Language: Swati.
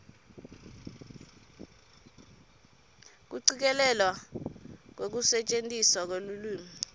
kucikelelwa kwekusetjentiswa kwelulwimi